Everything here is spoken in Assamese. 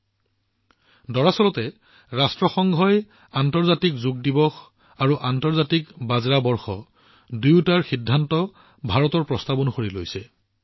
দৰাচলতে ভাৰতৰ প্ৰস্তাৱৰ পিছত ৰাষ্ট্ৰসংঘই আন্তৰ্জাতিক যোগ দিৱস আৰু আন্তৰ্জাতিক বাজৰা বৰ্ষ দুয়োটাৰ সন্দৰ্ভত সিদ্ধান্ত গ্ৰহণ কৰিছে